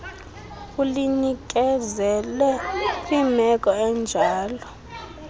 ulinikezele kwimeko enjalo